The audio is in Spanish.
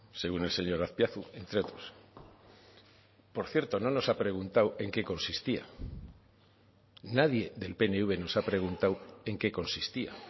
según el señor azpiazu entre otros por cierto no nos ha preguntado en qué consistía nadie del pnv nos ha preguntado en qué consistía